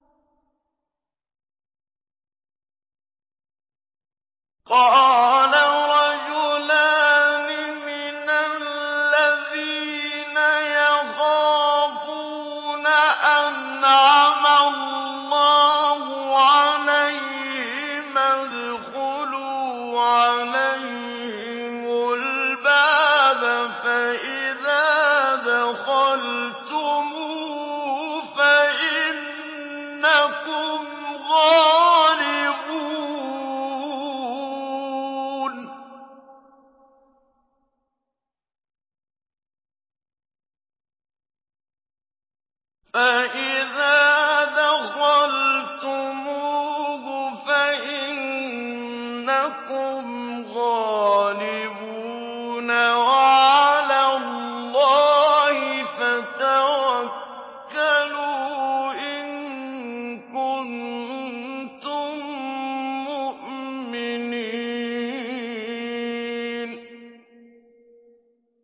قَالَ رَجُلَانِ مِنَ الَّذِينَ يَخَافُونَ أَنْعَمَ اللَّهُ عَلَيْهِمَا ادْخُلُوا عَلَيْهِمُ الْبَابَ فَإِذَا دَخَلْتُمُوهُ فَإِنَّكُمْ غَالِبُونَ ۚ وَعَلَى اللَّهِ فَتَوَكَّلُوا إِن كُنتُم مُّؤْمِنِينَ